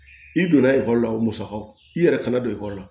I donna ekɔli la o musakaw i yɛrɛ kana don ekɔli la